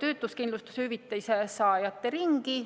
töötuskindlustushüvitise saajate ringi.